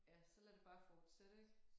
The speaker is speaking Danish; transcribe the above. Ja så lad det bare fortsætte ik